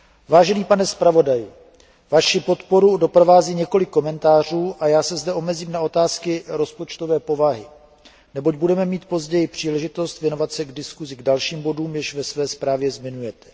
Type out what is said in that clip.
Vážený pane zpravodaji, Vaši podporu doprovází několik komentářů a já se zde omezím na otázky rozpočtové povahy, neboť budeme mít později příležitost věnovat se v diskusi dalším bodům, jež ve své zprávě zmiňujete.